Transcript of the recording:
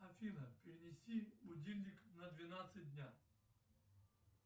афина перенести будильник на двенадцать дня